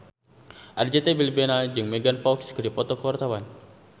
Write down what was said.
Arzetti Bilbina jeung Megan Fox keur dipoto ku wartawan